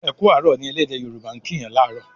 "Eku arọ" ní ẹlẹdẹ yoruba' kín Yàn laarọ